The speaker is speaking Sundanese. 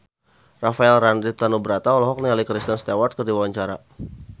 Rafael Landry Tanubrata olohok ningali Kristen Stewart keur diwawancara